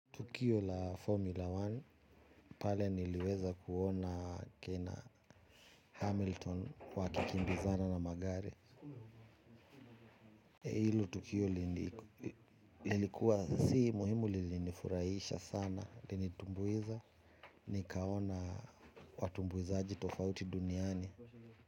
Tukio la Formula One pale niliweza kuona kena Hamilton wakikimbizana na magare. Hilo. Tukio lilikuwa si muhimu lilinifurahisha sana, li nitumbuiza, nikaona watumbuizaji tofauti duniani.